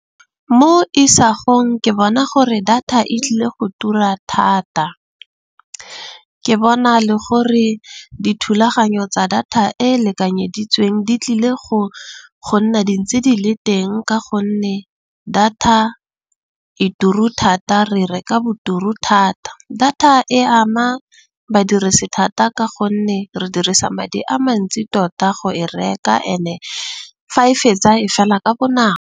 Mo isagong ke bona gore data e tlile go tura thata. Ke bona le gore dithulaganyo tsa data e e lekanyeditsweng di tlile go nna dintsi di le teng. Ka gonne data e turu thata. Re reka boturu thata. Data e ama badirisi thata. Ka gonne re dirisa madi a mantsi tota go e reka ene fa e fetsa e fela ka bonako.